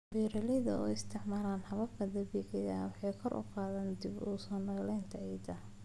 Beeralayda oo isticmaalaya hababka dabiiciga ah waxay kor u qaadaan dib-u-soo-nooleynta ciidda.